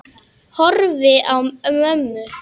Horfi á mömmu.